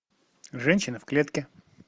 женщина в клетке